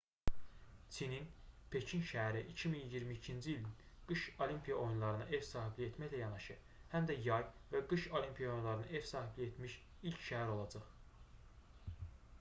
çinin pekin şəhəri 2022-ci ilin qış olimpiya oyunlarına ev sahibliyi etməklə yanaşı həm də yay və qış olimpiya oyunlarına ev sahibliyi etmiş ilk şəhər olacaq